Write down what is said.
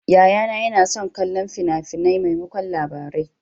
Yayana yana son kallon fina-finai maimakon Labarai.